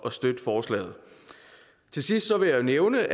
at støtte forslaget til sidst vil jeg nævne